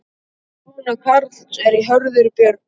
Sonur Karls er Hörður Björn.